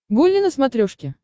гулли на смотрешке